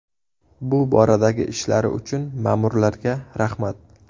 Bu boradagi ishlari uchun ma’murlarga rahmat.